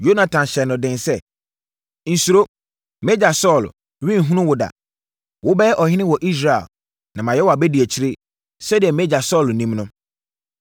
Yonatan hyɛɛ no den sɛ, “Nsuro! Mʼagya Saulo renhunu wo da. Wobɛyɛ ɔhene wɔ Israel, na mayɛ wʼabadiakyire, sɛdeɛ mʼagya Saulo nim no.”